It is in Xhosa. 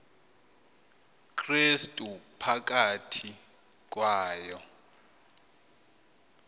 krestu phakathi kwayo